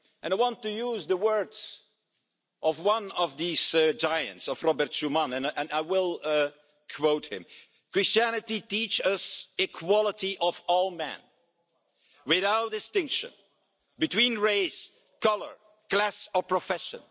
I want to use the words of one of these giants, of Robert Schuman, and I will quote him Christianity teaches us equality of all men without distinction between race, colour, class or profession